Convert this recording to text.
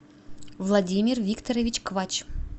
владимир викторович квач